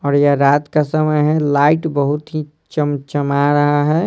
और यह रात का समय है लाइट बहुत ही चमचमा रहा है।